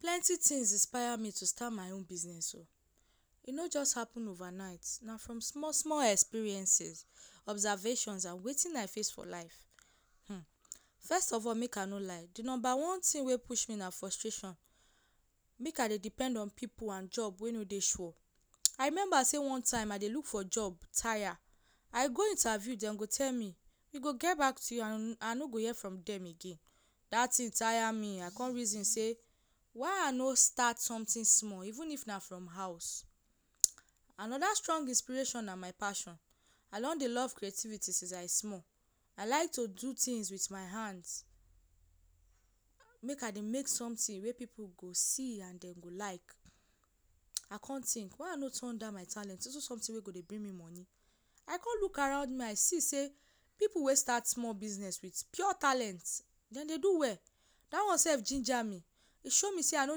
Plenty tin inspire me to stat my own business e no just happun over night na from small small experience, observations and wetin I face for life. First of all make I no lie di number one tin wey push me na frustration make I dey depend on pipu and job wey no dey sure. I remember say one time I dey look for job tire, I go interview, dem go tell me “we go get back to you” I no go hear from dem again. Dat tin tire me. I come reason say why I no stat somtin small even if na from house. Anoda strong inspiration na my passion. I don dey love creativity since I small. I like to do tins wit my hand, make I dey make somtin wey pipu go see and dem go like. I come tink why I no turn dat my talent into somtin wey go dey bring me moni. I come look around see say pipu wey stat small business wit pure talent dem dey do well. Dat one sef jinja me. E show me say I no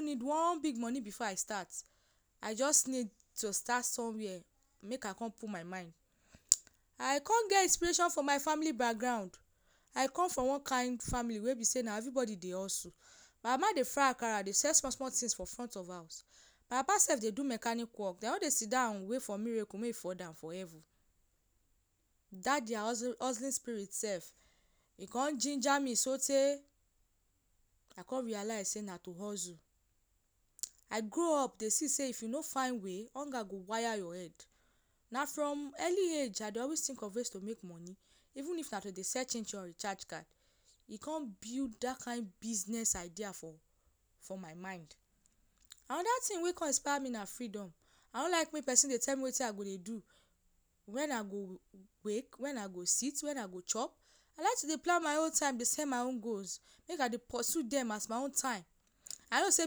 need one big moni bifor I stat. I just need to stat somewia and make I come put my mind. I come get inspiration for my family background. I come from one kain family wey be say na evribodi dey hustle. My mama dey fry akara dey sell small small tin for front of house. My papa sef dey do mechanic wok. Dem no dey sidon wait for miracle make e fall down from heaven. Dat dia hustling spirit sef e come jinja me sotey I come realise say na to hustle. I grow up dey see say if you no find way hunger go wire your head. Na from early age I dey always tink of ways to make moni even if na to dey sell chin chin or recharge card. E come build dat kain business idea for my mind. Anoda tin wey come inspire me na freedom. I no like make pesin dey tell me wetin I go dey do, wen I go wake, wen I go sidon, wetin I go chop. I like to dey plan my own time. Beside, my own goals make I dey pursue dem as my own time. I know say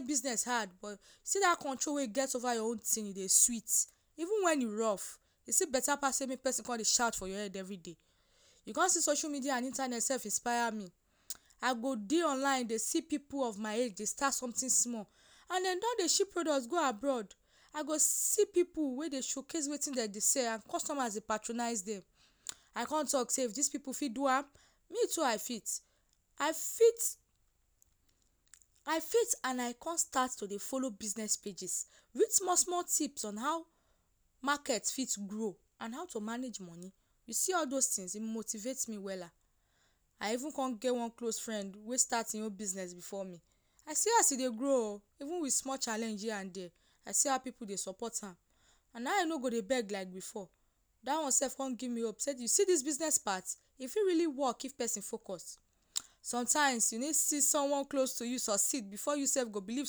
business hard but see dat control wey e get over your own tin dey sweet. Even wen e rough, still betta pass say make pesin come dey shout for your head evri day. You come see say social media and internet sef inspire me. I go dey online dey see pipu of my age dey stat somtin small and dem don dey ship product go abroad. I go see pipu wey dey showcase wetin dem dey sell and customer dey patronise dem. I come tok say “if dis pipu fit do am, me too I fit.” I come stat to dey follow business pages, dey get small small tips on how market fit grow and how to manage moni. You see all dose tin e motivate me wella. I even come get one close friend wey stat im own business bifor me. I see as e dey grow o, even wit small challenge here and dia, I see how pipu dey support am and now e no dey beg like bifor. Dat one sef come give me hope say “you see dis business part, e fit really wok if pesin focus.” Somtime you need see someone close to you succeed bifor you sef go believe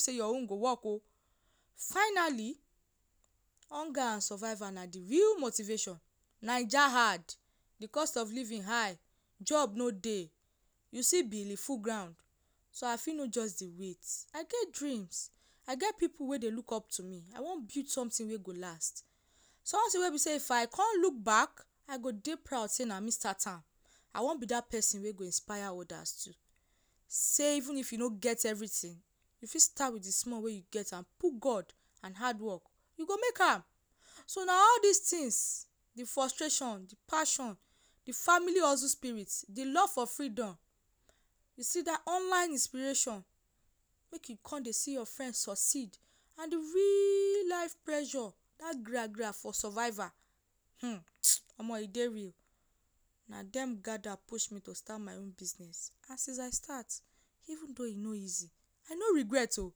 say your own go wok o. Finally, hunger and surviva na di real motivation. Naija hard, di cost of living high, job no dey, you see bill full ground, so I fit no just dey wait. I get dream, I get pipu wey dey look up to me. I wan build somtin wey go last. Somtin wey be say if I come look back I go dey proud say na me stat am. I wan be dat pesin wey go inspire odas too say even if you no get evritin, you fit stat wit di small wey you get. Put God and hard wok, you go make am. So na all dis tin di frustration, di passion, di family hustle spirit, di love for freedom, you see dat online inspiration, make e come dey see your friend succeed, and di real life pressure, dat gra-gra for surviva hmm omo, e dey real. Na dem gada push me to stat my own business. And since I stat, even though e no easy, I no regret o.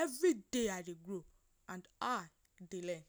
Evri day I dey grow and I dey learn.